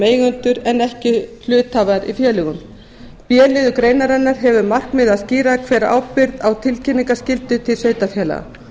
eigendur en ekki hluthafar í félögunum b liður greinarinnar hefur að markmiði að skýra hver beri ábyrgð á tilkynningarskyldu til sveitarfélaga